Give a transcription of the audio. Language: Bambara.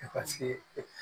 E ka se e